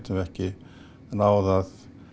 við ekki náð að